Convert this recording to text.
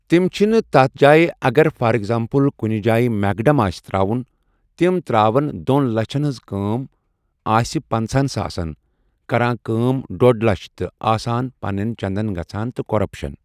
تِم چھِنہ تَتھ جاے اگر فار ایٚکزامپٕل کُنہ جاے میکڑم آسہِ تراون تِم تراون دۄن لَچھن ہنٛز کٲم آسہِ پَنٛژاہن ساسن کَران کٲم ڈۄڑ لچھ تہٕ آسان پَنٮ۪ن چندن گژھان تہٕ کَۄرَپشن۔